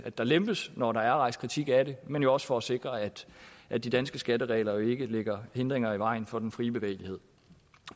der lempes når der er rejst kritik af det men jo også for at sikre at at de danske skatteregler ikke lægger hindringer i vejen for den frie bevægelighed